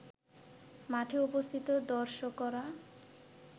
মাঠে উপস্থিত দর্শকরা